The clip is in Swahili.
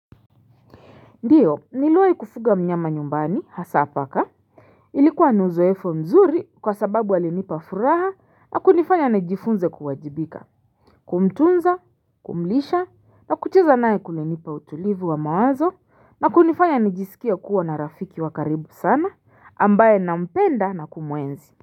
Ndiyo niliwai kufuga mnyama nyumbani hasa paka ilikuwa ni uzoefu mzuri kwa sababu alinipa furaha na kunifanya nijifunze kuwajibika kumtunza kumlisha na kucheza naye kulinipa utulivu wa mawazo na kunifanya nijisikie kuwa na rafiki wa karibu sana ambaye na mpenda na kumuenzi.